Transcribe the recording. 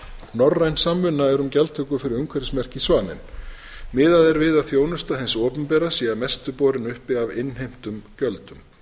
norræn samvinna er um gjaldtöku fyrir umhverfismerkið svaninn miðað er við að þjónusta hins opinbera sé að mestu borin uppi af innheimtum gjöldum